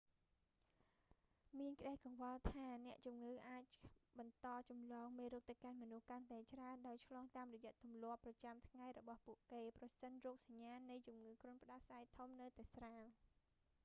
មានក្ដីកង្វល់ថា អ្នកជំងឺអាចបន្តចម្លងមេរោគទៅកាន់មនុស្សកាន់តែច្រើន ដោយឆ្លងតាមរយៈទម្លាប់ប្រចាំថ្ងៃរបស់ពួកគេ ប្រសិនរោគសញ្ញានៃជំងឺគ្រុនផ្ដាសាយធំនៅតែស្រាល